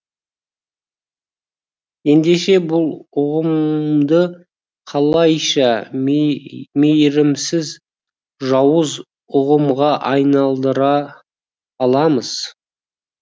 ендеше бұл ұғымды қалайша мейірімсіз жауыз ұғымға айналдыра аламыз